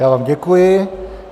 Já vám děkuji.